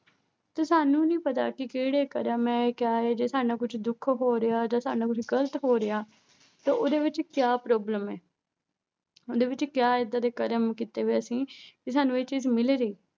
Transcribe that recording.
ਤੇ ਸਾਨੂੰ ਨੀ ਪਤਾ ਕਿ ਕਿਹੜੇ ਕਰਮ ਹੈ ਕਿਆ ਹੈ ਜੇ ਸਾਡੇ ਨਾਲ ਕੁਛ ਦੁੱਖ ਹੋ ਰਿਹਾ ਜਾਂ ਸਾਡੇ ਨਾਲ ਕੁਛ ਗ਼ਲਤ ਹੋ ਰਿਹਾ ਤਾਂ ਉਹਦੇ ਵਿੱਚ ਕਿਆ problem ਹੈ ਉਹਦੇ ਵਿੱਚ ਕਿਆ ਏਦਾਂ ਦੇ ਕਰਮ ਕੀਤੇ ਹੋਏ ਆ ਅਸੀਂ ਵੀ ਸਾਨੂੰ ਇਹ ਚੀਜ਼ ਮਿਲ ਰਹੀ,